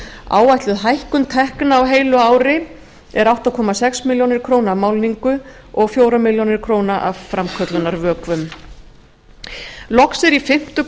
áætluð hækkun tekna á heilu ári er átta komma sex milljónir króna af málningu og fjórar milljónir króna af framköllunarvökvum loks er í fimmtu